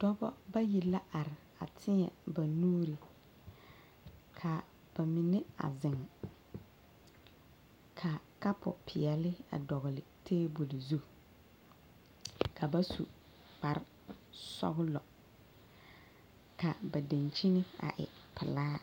Dɔba bayi la are a teɛ ba nuuri ka ba mine a zeŋ ka kapupeɛle a dɔgle tabol zu ka ba su kparesɔglɔ ka ba dankyini a e pelaa.